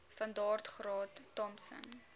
standaard graad thompson